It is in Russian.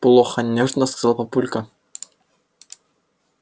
плохо нежно сказал папулька